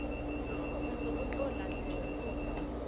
moso go se tlo lahlelwa